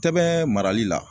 Tɛbɛn marali la